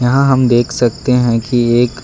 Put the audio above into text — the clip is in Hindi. यहां हम देख सकते हैं कि एक--